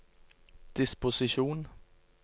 disposisjon